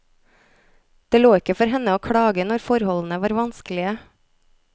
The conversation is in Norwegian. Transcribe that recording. Det lå ikke for henne å klage når forholdene var vanskelige.